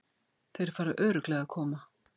Þeir fara örugglega að koma.